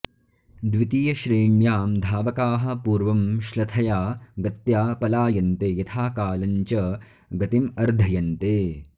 द्वितीयश्रेण्यां धावकाः पूर्वं श्लथया गत्या पलायन्ते यथाकालं च गतिं अर्धयन्ते